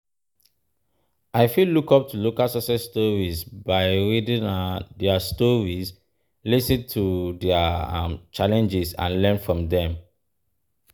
i fit look up to local success stories by reading um their stories, lis ten to their um challenges and learn from dem.